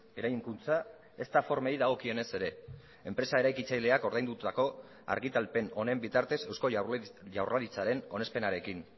eraikuntza ezta formei dagokionez ere enpresa eraikitzaileak ordaindutako argitalpen honen bitartez eusko jaurlaritzaren onespenarekin